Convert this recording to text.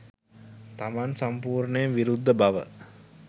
තමන් සම්පූර්ණයෙන් විරුද්ධ බව